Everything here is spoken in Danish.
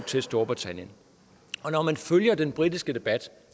til storbritannien når man følger den britiske debat